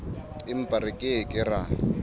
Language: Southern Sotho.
empa re ke ke ra